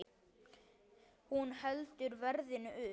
Hún heldur verðinu uppi.